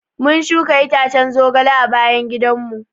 Mun shuka itacen zogale a bayan gidan mu.